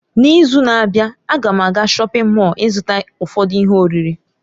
N'izu na-abịa, a ga m aga shọpin Mọll ịzụta ụfọdụ ihe oriri.